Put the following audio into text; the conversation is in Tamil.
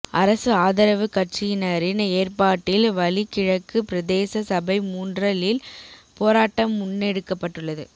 அரசு ஆதரவு கட்சியினரின் ஏற்பாட்டில் வலி கிழக்கு பிரதேச சபை முன்றலில் போராட்டம் முன்னெடுக்கப்பட்டுள்ளது